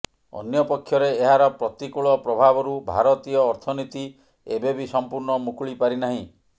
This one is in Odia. ଅନ୍ୟପକ୍ଷରେ ଏହାର ପ୍ରତିକୂଳ ପ୍ରଭାବରୁ ଭାରତୀୟ ଅର୍ଥନୀତି ଏବେବି ସମ୍ପୂର୍ଣ୍ଣ ମୁକୁଳି ପାରିନାହିଁ